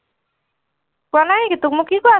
কোৱা নাই নেকি, তোক মই কি কৈ আছো?